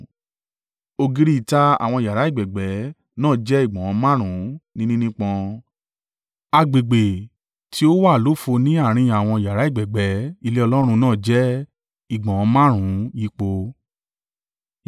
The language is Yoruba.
Ògiri ìta àwọn yàrá ẹ̀gbẹ̀gbẹ́ náà jẹ́ ìgbọ̀nwọ́ márùn-ún ni nínípọn. Agbègbè tí ó wà lófo ní àárín àwọn yàrá ẹ̀gbẹ̀gbẹ́ ilé Ọlọ́run náà jẹ́ ìgbọ̀nwọ́ márùn-ún yípo.